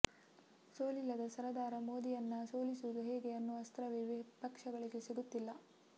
ಸೋಲಿಲ್ಲದ ಸರದಾರ ಮೋದಿಯನ್ನ ಸೋಲಿಸೋದು ಹೇಗೆ ಅನ್ನೋ ಅಸ್ತ್ರವೇ ವಿಪಕ್ಷಗಳಿಗೆ ಸಿಗುತ್ತಿಲ್ಲ